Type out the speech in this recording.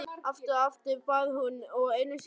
Aftur og aftur, bað hún og einu sinni enn.